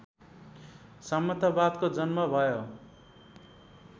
सामन्तवादको जन्म भयो